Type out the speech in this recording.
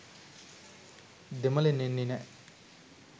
දෙමළෙන් එන්නෙ නෑ